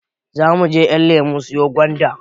Zamuje ƴanlemo siyo gwanda